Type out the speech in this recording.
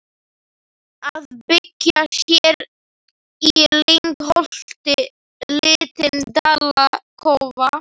Að byggja sér í lyngholti lítinn dalakofa.